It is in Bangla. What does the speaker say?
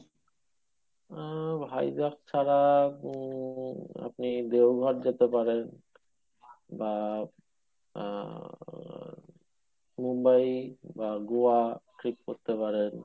ওহ হাইজ্যাক ছাড়া উম আপনি দেওঘর যেতে পারেন বা আহ মুম্বাই, গোয়া, fixed করতে পারেন।